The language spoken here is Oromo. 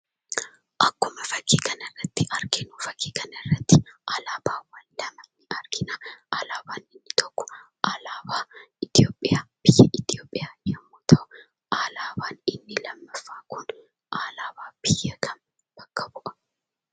Akkuma fakkii kanarratti arginu fakkii kanarratti alaabaa adda addaa argina. Alaabaan inni tokko alaabaa Itoophiyaa yemmuu ta'u, alaabaan inni lammaffaan alaabaa biyya kamii bakka bu'aa?